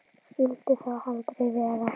Skyldi þó aldrei vera.